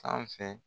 Sanfɛ